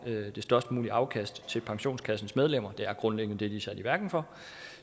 det størst mulige afkast til pensionskassens medlemmer det er grundlæggende det de er sat i verden for